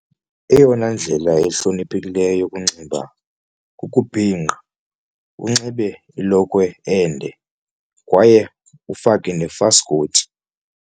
Eyona ndlela ihloniphekileyo yokunxiba kukubhinqa unxibe ilokhwe ende kwaye ufake nefaskoti.